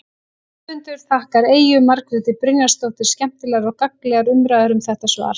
Höfundur þakkar Eyju Margréti Brynjarsdóttur skemmtilegar og gagnlegar umræður um þetta svar.